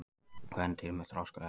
Kvendýr með þroskuð egg.